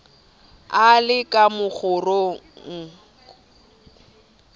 a le ka mokgorong a